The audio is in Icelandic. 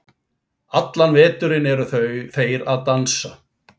Allan veturinn eru þeir að dansa.